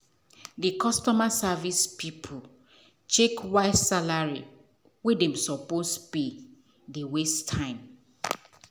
the customer service people check why salary wey dem suppose pay dey waste time.